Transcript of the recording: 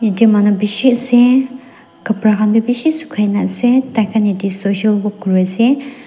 Eteh manu beshi ase kapra khan bhi beshi sukhai na ase taikha eteh social work kuri ase.